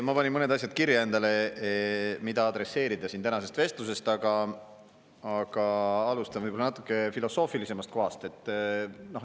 Ma panin mõned asjad kirja endale, mida adresseerida tänasest vestlusest, aga alustan võib-olla natuke filosoofilisemalt kohast.